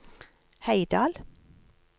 Heidal